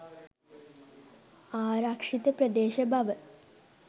ආරක්ෂිත ප්‍රදේශ බව